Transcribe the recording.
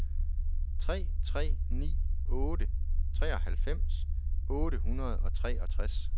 tre tre ni otte treoghalvfems otte hundrede og treogtres